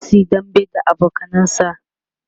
zasuyi dambe da abokanansa